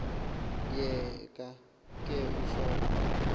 yeka ke usonto